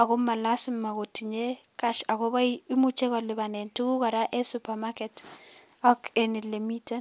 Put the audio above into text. ako ma lazima kotinye cash ako imuche kolibanen tuguk kora enn supermarket ak enn ole miten.